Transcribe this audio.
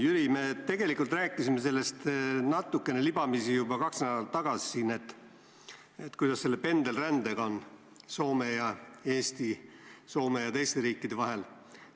Jüri, me tegelikult rääkisime natukene libamisi juba kaks nädalat tagasi, kuidas on lood pendelrändega Soome ja Eesti, Soome ja teiste riikide vahel.